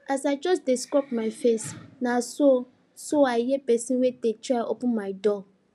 as i just dey scrub my face na so so i hear pesin wey dey try open my door